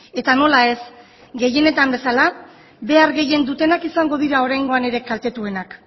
eta nola ez gehienetan bezala behar gehien dutenak izango dira oraingoan ere kaltetuenak